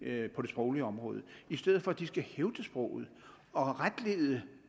det sproglige område i stedet for at de skal hævde sproget og retlede